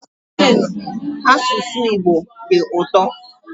Asụsụ Igbo dị ụtọ